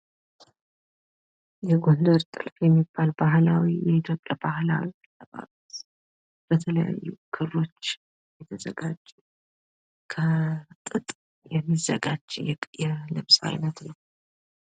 የጎንደር ጥልፍ የሚባል ባህላዊ የኢትዮጵያ ባህላዊ አለባበስ፤ በተለያዩ ክሮች የተዘጋጀ ከጥጥ የሚዘጋጅ የልብስ አይነት ነው።